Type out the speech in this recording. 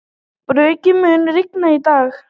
Burkni, mun rigna í dag?